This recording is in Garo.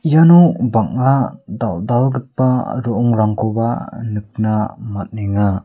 iano bang·a dal·dalgipa ro·ongrangkoba nikna man·enga.